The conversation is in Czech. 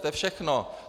To je všechno.